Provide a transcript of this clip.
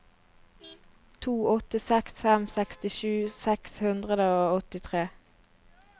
to åtte seks fem sekstisju seks hundre og åttitre